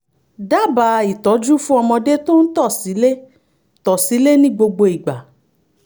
dábàá ìtọ́jú fún ọmọdé tó ń tọ̀ sílé tọ̀ sílé ní gbogbo ìgbà